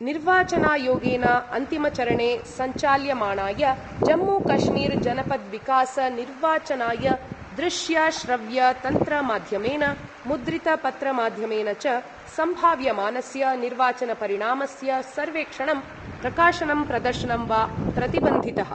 निर्वाचनायोगेन अन्तिमचरणे सञ्चाल्यमाणाय जम्मूकश्मीरजनपद्विकासनिर्वाचनाय दृश्यश्रव्यतन्त्रमाध्यमेन मुद्रितपत्रमाध्यमेन च सम्भाव्यमानस्य निर्वाचनपरिणामस्य सर्वेक्षणं प्रकाशनं प्रदर्शनं वा प्रतिबन्धितः।